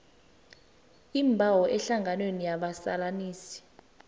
iimbawo ehlanganweni yabazalanisi